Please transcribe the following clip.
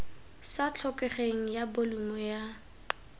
sa tlhokegeng ya bolumo ya